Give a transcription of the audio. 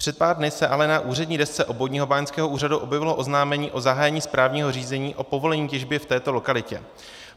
Před pár dny se ale na úřední desce Obvodního báňského úřadu objevilo oznámení o zahájení správního řízení o povolení těžby v této lokalitě.